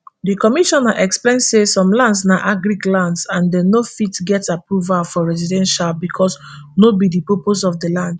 di commissioner explain say some lands na agric lands and dem no fit get approval for residential becos no be di purposse of di land